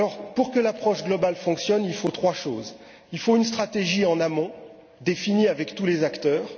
Pour que l'approche globale fonctionne, il faut trois choses premièrement, une stratégie en amont, définie avec tous les acteurs.